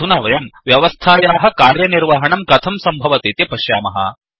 अधुना वयं व्यवस्थायाः कार्यनिर्वहणं कथं सम्भवतीति पश्यामः